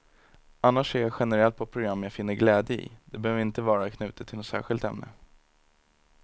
Annars ser jag generellt på program jag finner glädje i, det behöver inte vara knutet till något särskilt ämne.